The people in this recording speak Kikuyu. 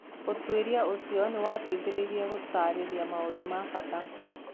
Ũtuĩria ũcio nĩ wateithirie gũtaarĩria maũndũ ma bata